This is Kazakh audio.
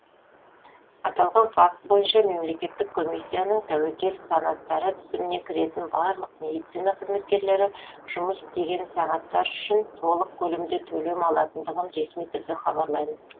аталған факт бойынша мемлекеттік комиссиясының тәуекел санаттары тізіміне кіретін барлық медицина қызметкерлері жұмыс істеген сағаттар үшін толық көлемде төлемдер алатындығын ресми түрде хабарлаймын